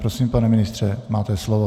Prosím, pane ministře, máte slovo.